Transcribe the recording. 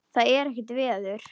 Það er ekkert veður.